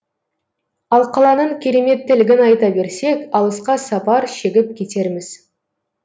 ал қаланың кереметтілігін айта берсек алысқа сапар шегіп кетерміз